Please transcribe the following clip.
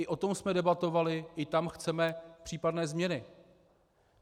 I o tom jsme debatovali, i tam chceme případné změny.